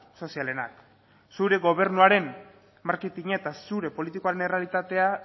sozialenak zure gobernuaren marketina eta zure politikaren errealitatea